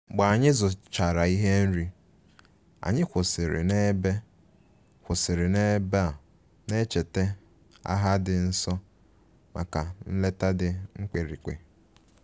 Mgbe anyị zụchara ihe nri, anyị kwụsịrị n'ebe kwụsịrị n'ebe a na-echeta agha dị nso maka nleta dị mkpirikpi